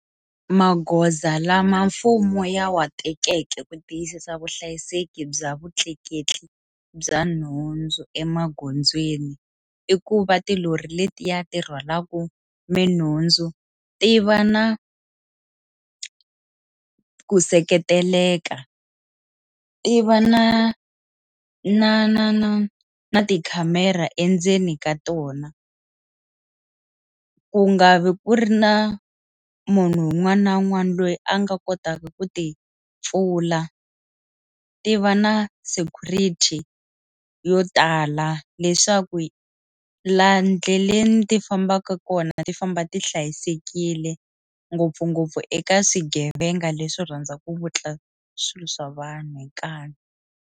Magoza lama mfumo ya wa tekeke ku tiyisisa vuhlayiseki bya vutleketli bya nhundzu emagondzweni i ku va tilori letiya ti rhwalaku minhundzu ti va na ku seketeleka ti va na na na na na tikhamera endzeni ka tona ku nga vi ku ri na munhu un'wana na un'wana loyi a nga kotaka ku ti pfula ti va na security yo tala leswaku laha endleleni ti fambaka kona ti famba ti hlayisekile ngopfungopfu eka swigevenga leswi rhandzaka ku vutla swilo swa vanhu hi nkanu.